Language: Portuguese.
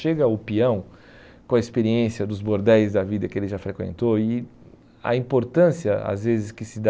Chega o peão com a experiência dos bordéis da vida que ele já frequentou e a importância às vezes que se dá